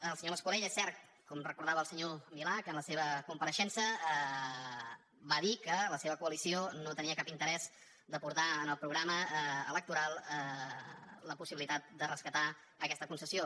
el senyor mas colell és cert com recordava el senyor milà que en la seva compareixença va dir que la seva coalició no tenia cap interès a portar en el programa electoral la possibilitat de rescatar aquesta concessió